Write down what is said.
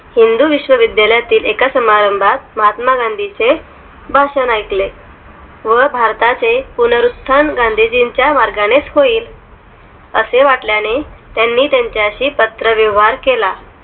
हिंदू विश्व्विद्यालयातील एका समारंभात गांधींचे भशान ऐकले व भारताचे पुनरुस्थान गांधीजींच्या मार्गानेच होईल असे वाटल्याने त्यांनी त्यांच्याशी पात्र व्यवहार केला